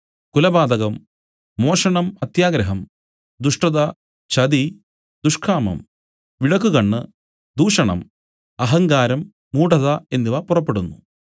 കുലപാതകം മോഷണം അത്യാഗ്രഹം ദുഷ്ടത ചതി ദുഷ്കാമം വിടക്കുകണ്ണ് ദൂഷണം അഹങ്കാരം മൂഢത എന്നിവ പുറപ്പെടുന്നു